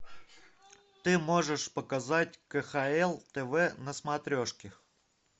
ты можешь показать кхл тв на смотрешке